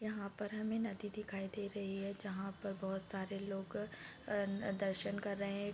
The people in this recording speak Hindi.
यहाँ पर हमे नदी दिखाई दे रही है जहाँ पर बहोत सारे लोग अ अ दर्शन कर रहे है ।